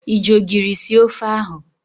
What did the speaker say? Ị ji ogiri sie ofe ahụ?